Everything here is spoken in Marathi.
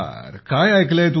तुम्ही काय ऐकले आहे